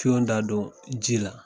Son da don ji la.